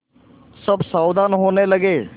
सब सावधान होने लगे